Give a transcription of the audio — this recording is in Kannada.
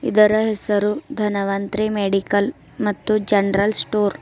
ಇದರ ಹೆಸರು ಧನವಂತ್ರಿ ಮೆಡಿಕಲ್ ಮತ್ತು ಜನರಲ್ ಸ್ಟೋರ್ .